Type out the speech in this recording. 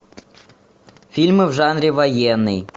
фильмы в жанре военный